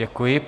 Děkuji.